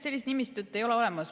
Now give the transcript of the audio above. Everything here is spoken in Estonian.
Sellist nimistut ei ole olemas.